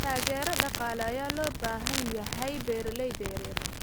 Taageero dhaqaale ayaa loo baahan yahay beeralayda yaryar.